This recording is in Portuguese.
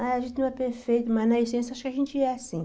A gente não é perfeito, mas na essência acho que a gente é, sim.